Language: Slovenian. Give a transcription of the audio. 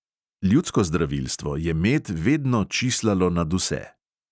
Ljudsko zdravilstvo je med vedno čislalo nad vse.